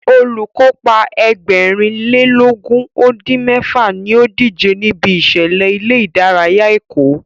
Olùkópa Ẹgbẹ̀rin lé lógún ó dín mẹ́fà ní ó díje níbi ìṣẹ̀lẹ̀ ilé ìdárayá Èkó